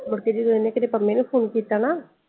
ਮੁੱਢ ਕ ਜੇ ਕਦੇ ਏਨੇ ਪੰਮੇ ਨੂੰ phone ਕਿੱਤਾ ਨਾ।